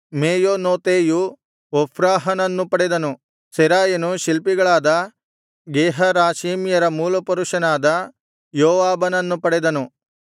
ಮೆಯೋನೊತೈಯು ಒಫ್ರಾಹನನ್ನು ಪಡೆದನು ಸೆರಾಯನು ಶಿಲ್ಪಿಗಳಾದ ಗೇಹರಾಷೀಮ್ಯರ ಮೂಲಪುರುಷನಾದ ಯೋವಾಬನನ್ನು ಪಡೆದನು